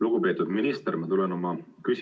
Lugupeetud minister!